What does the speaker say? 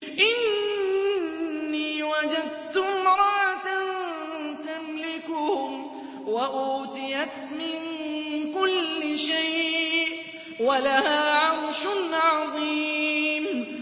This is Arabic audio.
إِنِّي وَجَدتُّ امْرَأَةً تَمْلِكُهُمْ وَأُوتِيَتْ مِن كُلِّ شَيْءٍ وَلَهَا عَرْشٌ عَظِيمٌ